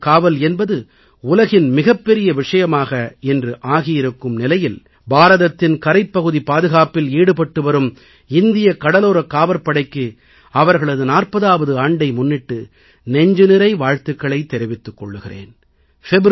கடலோரக் காவல் என்பது உலகின் மிகப்பெரிய விஷயமாக இன்று ஆகியிருக்கும் நிலையில் பாரதத்தின் கரைப்பகுதிப் பாதுகாப்பில் ஈடுபட்டு வரும் இந்திய கடலோரக் காவற்படைக்கு அவர்களது 40ஆவது ஆண்டை முன்னிட்டு நெஞ்சுநிறை வாழ்த்துக்களைத் தெரிவித்துக் கொள்கிறேன்